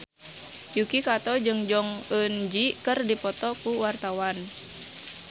Yuki Kato jeung Jong Eun Ji keur dipoto ku wartawan